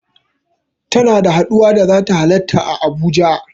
Tana da haɗuwa da zata halarta a Abuja.